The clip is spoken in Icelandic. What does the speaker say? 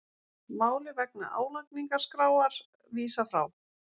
Máli vegna álagningarskráar vísað frá